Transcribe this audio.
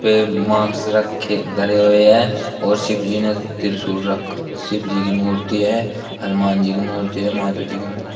वे mask रखे धरे हुए है और शिव जी ने त्रिशूल रख शिव जी की मूर्ति है हनुमान जी की मूर्ति हैं माता जी की--